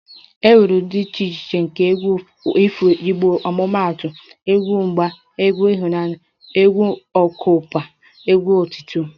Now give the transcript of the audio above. E nwere ụdị dị iche iche nke egwu ifo igbo omumaatu egwu agha, egwu ịhụnanya ,egwu okpukpe, egwu otuto etc